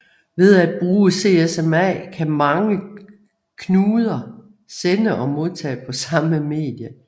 Ved at bruge CSMA kan mange knuder sende og modtage på samme medie